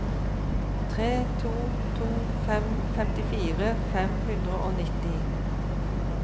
tre to to fem femtifire fem hundre og nitti